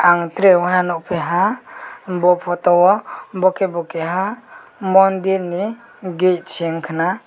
ang tere woha nukphiha bo photo o bo khebo keha mandirni gate se ungkha na.